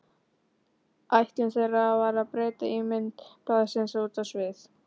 Ætlun þeirra var að breyta ímynd blaðsins út á við.